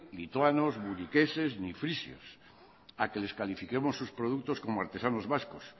lituanos muniqueses ni frisios a que les califiquemos sus productos como artesanos vascos